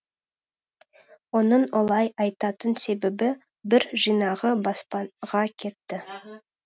оның олай айтатын себебі бір жинағы баспаға кетті